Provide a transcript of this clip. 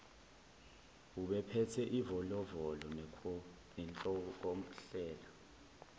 ubephethe ivolovolo nenhlokohlela